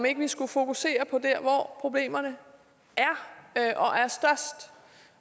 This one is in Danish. ikke skulle fokusere på der hvor problemerne er og er størst